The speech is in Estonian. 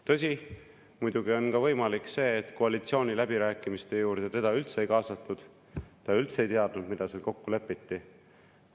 Tõsi, muidugi on võimalik ka see, et koalitsiooniläbirääkimiste juures teda üldse ei kaasatud, ta üldse ei teadnud, mida seal kokku lepiti.